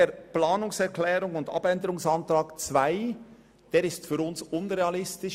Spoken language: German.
Der Abänderungsantrag 2 ist für uns unrealistisch.